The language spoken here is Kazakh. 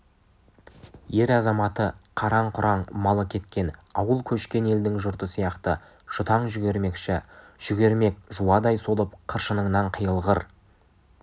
ер-азаматы қараң-құраң малы кеткен ауыл көшкен елдің жұрты сияқты жұтаң жүгірмекші жүгірмек жуадай солып қыршыныңнан қиылғыр